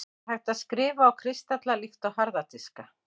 er hægt að „skrifa“ á kristalla líkt og harða diska